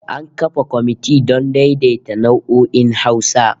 An kafa komiti don daidaita nau'o'in Hausa